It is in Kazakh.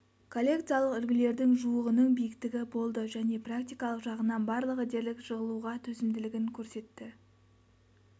коллекциялық үлгілердің жуығының биіктігі болды және практикалық жағынан барлығы дерлік жығылуға төзімділігін көрсетті